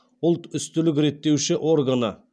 ұлтүстілік реттеуші органы